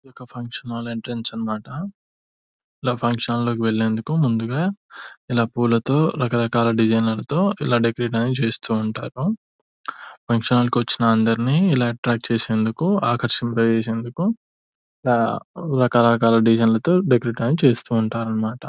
ఇదొక function hall entrance అన్నమాట. ఇలా ఫంక్షన్ హాల్ లో వెళ్లేందుకు ముందుగా ఇలా పూలతో రకరకాల డిజైన్ లతో ఇలా డెకరేట్ అనేది చేస్తూ ఉంటారు. ఫంక్షన్ హాల్ కి వచ్చిన అందర్నీ ఇలా అట్రాక్ చేసేందుకు ఆకర్శింప చేసేందుకు ఇలా రకరకాల డిజైన్ లతో డెకరేట్ అనేది చేస్తూ ఉంటారనిమాట.